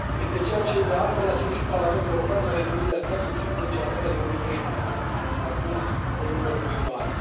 Este ceea ce, de altfel, a cerut și Parlamentul European în Rezoluția sa din 15 ianuarie 2013, în urmă cu câțiva ani.